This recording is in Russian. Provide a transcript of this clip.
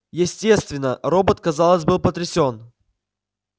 естественно робот казалось был потрясён